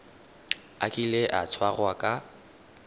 a kile a tshwarwa ka